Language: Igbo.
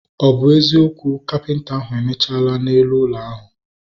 Ọ bụ eziokwu, kapịnta ahu emechala na elu ụlọ ahu